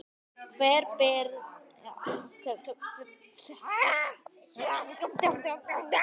Hver ber ábyrgð?